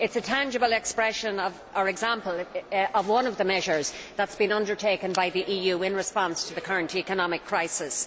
It is a tangible expression of an example of one of the measures that have been undertaken by the EU in response to the current economic crisis.